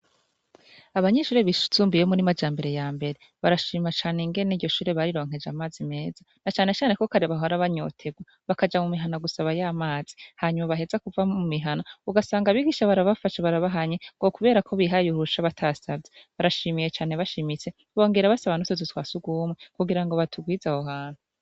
Abanyeshure bisumbuye bo muri majambere yambere barashima cane ingene iryo shure bari ronkeje amazi meza na cane cane ko kare bahora banyoterwa bakaja mumihana gusabayo amazi hanyuma baheza kuva mumihana ugasanga abigisha barabafashe barabahanye ngo kubera ko bihaye uruhusha batabisavye barashima bashimitse bongera basaba n'utuzu twasugumwe kugira batugwize aho hantu.